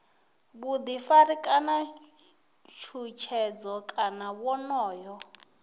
vhuḓifari kana tshutshedzo kana wonoyo